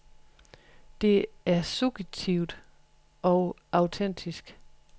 Det er suggestivt og autentisk.